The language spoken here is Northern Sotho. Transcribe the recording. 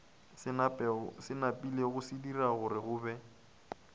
se napilego sadira gorego be